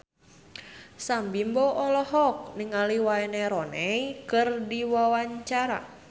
Sam Bimbo olohok ningali Wayne Rooney keur diwawancara